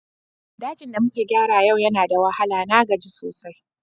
Dajin da muka gyara yau yana da wahala, na gaji sosai.